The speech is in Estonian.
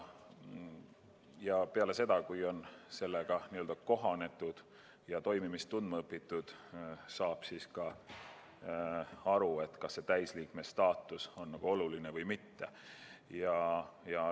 Ja peale seda, kui nendega on kohanetud ja CERN-i toimimist tundma õpitud, saab selgeks, kas täisliikme staatus on liikmetele oluline või mitte.